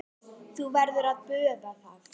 Þú verður að boða það.